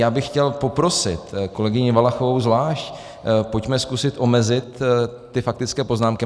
Já bych chtěl poprosit kolegyni Valachovou zvlášť, pojďme zkusit omezit ty faktické poznámky.